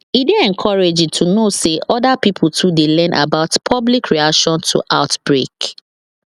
e dey encouraging to know say other pipo too dey learn about public reaction to outbreak